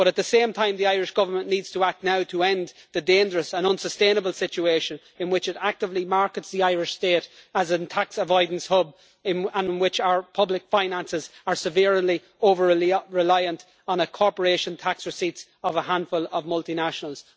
But, at the same time, the Irish Government needs to act now to end the dangerous and unsustainable situation in which it actively markets the Irish state as a tax avoidance hub and in which our public finances are severely over reliant on the corporation tax receipts of a handful of multinationals.